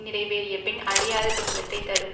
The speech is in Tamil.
நிறைவேறியபின் அழியாத துன்பத்தை தரும்